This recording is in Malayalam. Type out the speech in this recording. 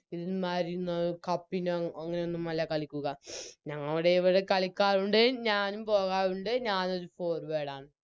ഇതിന് ന്നത് Cup ന് അങ്ങനെയൊന്നുമില്ല കളിക്കുക ഞങ്ങളുടെയിവിടെ കളിക്കാറുണ്ട് ഞാനും പോകാറുണ്ട് ഞാനോര് Forward